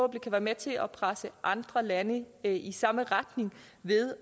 kan være med til at presse andre lande i samme retning ved